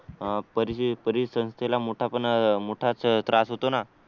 अह परि परिसंस्थेला मोठा पण अह मोठाच त्रास होतो ना